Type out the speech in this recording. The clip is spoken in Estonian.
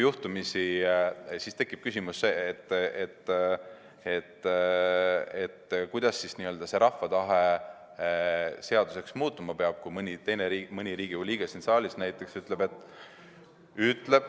Siis tekib küsimus, kuidas siis n‑ö see rahva tahe seaduseks muutuma peab, kui mõni Riigikogu liige siin saalis näiteks ütleb, et ...